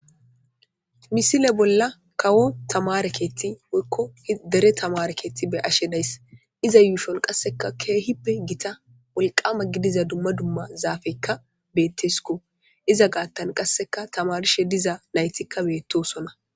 Misile bolla kawo tamareketi wekko dere tamarekeeti be ashe dayss iza yuushon qasseka keehippe gita wulqama gidiza dumma dumma zaafekka bettesiko iza gaattan qasseka tamarishe diza naytikka beettosonna